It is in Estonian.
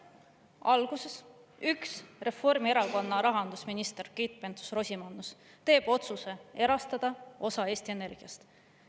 Alguses üks Reformierakonna rahandusminister, Keit Pentus-Rosimannus, teeb otsuse erastada osa Eesti Energiast.